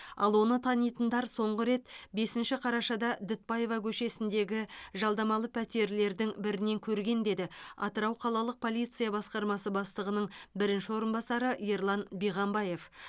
ал оны танитындар соңғы рет бесінші қарашада дүтбаева көшесіндегі жалдамалы пәтерлердің бірінен көрген деді атырау қалалық полиция басқармасы бастығының бірінші орынбасары ерлан биғамбаев